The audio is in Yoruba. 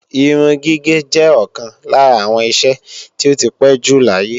Irun gígé jẹ́ ọ̀kan lára àwọn iṣẹ́ tí ó ti pé jù láyé